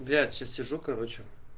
сейчас сижу короче